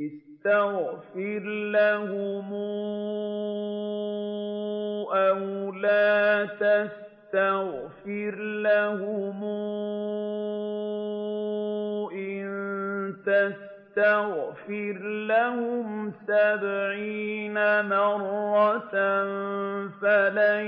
اسْتَغْفِرْ لَهُمْ أَوْ لَا تَسْتَغْفِرْ لَهُمْ إِن تَسْتَغْفِرْ لَهُمْ سَبْعِينَ مَرَّةً فَلَن